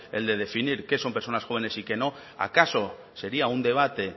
el de definir qué son personas jóvenes y qué no acaso sería un debate